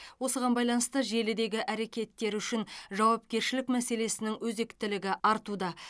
осыған байланысты желідегі әрекеттер үшін жауапкершілік мәселесінің өзектілігі артуда